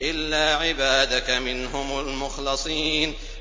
إِلَّا عِبَادَكَ مِنْهُمُ الْمُخْلَصِينَ